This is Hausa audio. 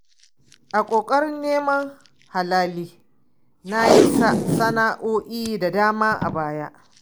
A ƙoƙarin neman halali na yi sana'o'i da dama a baya.